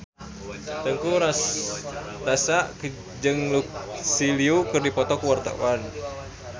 Teuku Rassya jeung Lucy Liu keur dipoto ku wartawan